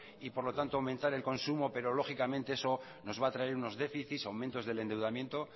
y por lo tanto aumentar el consumo pero lógicamente eso nos va a traer unos déficits aumentos del endeudamiento